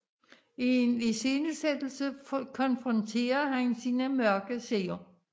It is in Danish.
I en iscenesættelse konfronterer han sine mørke sider